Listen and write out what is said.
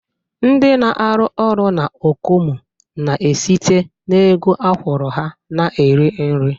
Ndị na-arụ orụ na Okomu na-esite n'ego akwụrụ ha na-eri nri